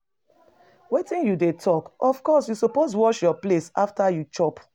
Wetin you dey talk. Of course you suppose wash your plate after you chop.